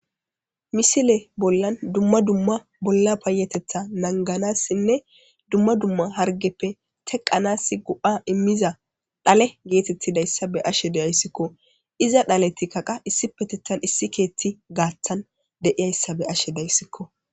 Misile bollan dumma dumma bolla payetetha nanganassinne dumma dumma hargeppe teqanas go'a immiza dhale geetettidayssa be ashe deyayssikko iza dhaleti kaqa issi petettan issi keeti gaaththan deiyayssa be ashe dayssikko